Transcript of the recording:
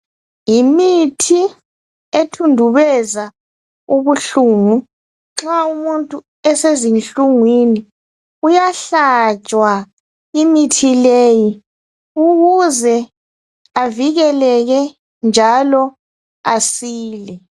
Yimithi ethundubeza ubuhlungu nxa umuntu esezinhlungwini uyahlatshwa imithi leyi ukuze avikeleke njalo asile.